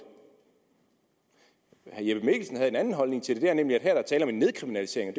herre jeppe mikkelsen havde en anden holdning til det nemlig at her er der tale om en nedkriminalisering